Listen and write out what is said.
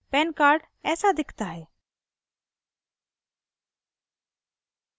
pan card ऐसा दिखता है